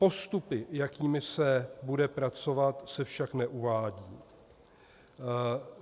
Postupy, jakými se bude pracovat, se však neuvádějí.